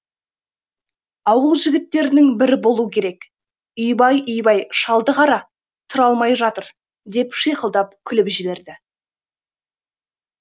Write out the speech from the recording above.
ауыл жігіттерінің бірі болу керек үйбай үйбай шалды қара тұра алмай жатыр деп шиқылдап күліп жіберді